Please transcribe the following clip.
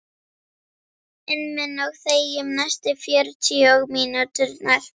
inn minn og þegjum næstu fjörutíu mínúturnar.